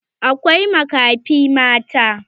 Akwai makafi mata.